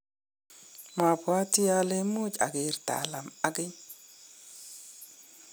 mabwatii ale much ager Talam ageny.